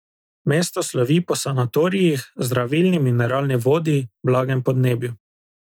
Mesto slovi po sanatorijih, zdravilni mineralni vodi, blagem podnebju.